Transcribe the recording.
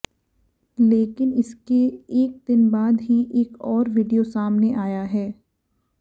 लेकिन इसके एक दिन बाद ही एक और वीडियो सामाने आया है